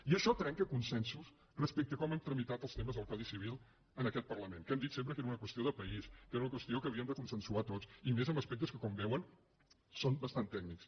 i això trenca consensos respecte a com hem tramitat els te·mes del codi civil en aquest parlament que hem dit sempre que era una qüestió de país que era una qües·tió que havíem de consensuar tots i més en aspectes que com veuen són bastant tècnics